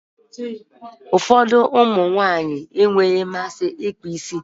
Ụfọdụ ụmụ nwaanyị e nweghị mmasị ịkpa isi.